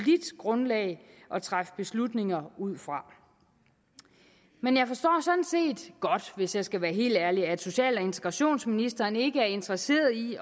grundlag at træffe beslutninger ud fra men jeg forstår sådan set godt hvis jeg skal være helt ærlig at social og integrationsministeren ikke er interesseret i